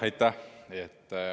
Aitäh!